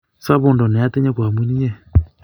sabando na atinye ko amun inye